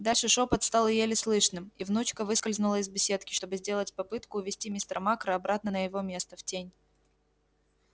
дальше шёпот стал еле слышным и внучка выскользнула из беседки чтобы сделать попытку увести мистера макра обратно на его место в тень